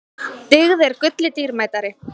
Dyggð er gulli dýrmætari.